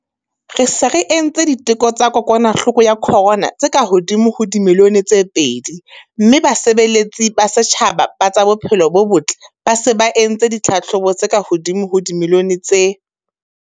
Re se re entse diteko tsa kokwanahloko ya corona tse kahodimo ho dimilione tse pedi mme basebeletsi ba setjhaba ba tsa bophelo bo botle ba se ba entse ditlhahlobo tse kahodimo ho dimilione tse.